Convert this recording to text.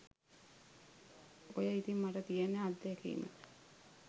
ඔය ඉතිං මට තියෙන අත්දැකීම